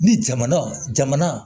Ni jamana jamana